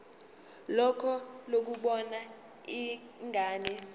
lakho lokubona ingane